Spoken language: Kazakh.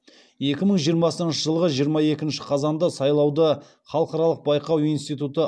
екі мың жиырмасыншы жылғы жиырма екінші қазанда сайлауды халықаралық байқау институты